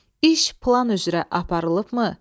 İş plan üzrə aparılıbmı?